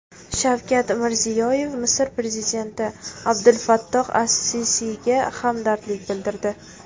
Shavkat Mirziyoyev Misr prezidenti Abdulfattoh As-Sisiyga hamdardlik bildirdi.